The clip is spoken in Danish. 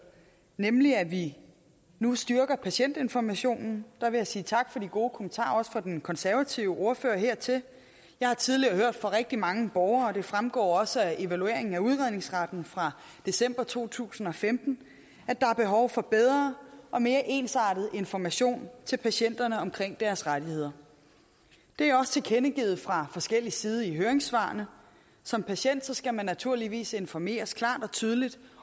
nemlig at vi nu styrker patientinformationen der vil jeg sige tak for de gode kommentarer også fra den konservative ordfører hertil jeg har tidligere hørt fra rigtig mange borgere og det fremgår også af evalueringen af udredningsretten fra december to tusind og femten at der er behov for bedre og mere ensartet information til patienterne omkring deres rettigheder det er også tilkendegivet fra forskellig side i høringssvarene som patient skal man naturligvis informeres klart og tydeligt